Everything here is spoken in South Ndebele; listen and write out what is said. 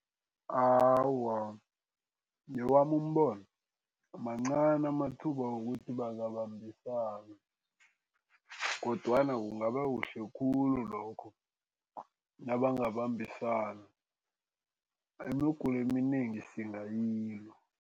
Awa, ngewami umbono, mancani amathuba wokuthi bangabambisana kodwana kungaba kuhle khulu lokho nabangabambisana. Imigulo eminengi singayilwa.